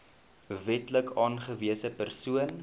wetlik aangewese persoon